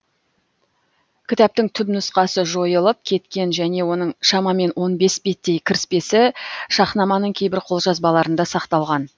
кітаптың түпнұсқасы жойылып кеткен және оның шамамен он бес беттей кіріспесі шахнаманың кейбір қолжазбаларында сақталған